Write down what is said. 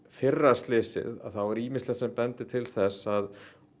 fyrra slysið þá er ýmislegt sem bendir til þess að